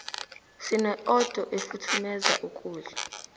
sine odo efuthumeza ukudla